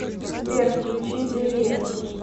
сбер включи делиа